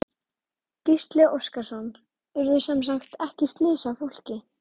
Gísli Óskarsson: Urðu semsagt ekki slys á fólki?